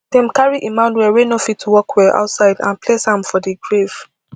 dem carry emmanuel wey no fit walk well outside and place am for di grave